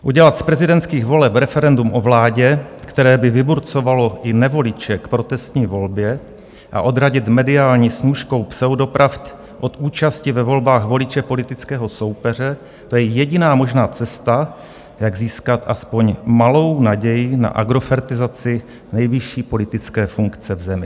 Udělat z prezidentských voleb referendum o vládě, které by vyburcovalo i nevoliče k protestní volbě, a odradit mediální snůškou pseudopravd od účasti ve volbách voliče politického soupeře, to je jediná možná cesta, jak získat aspoň malou naději na agrofertizaci nejvyšší politické funkce v zemi.